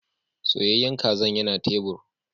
Soyayyen kazan yana tebur.